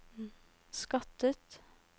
skattet